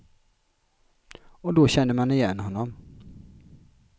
Och då kände man igen honom.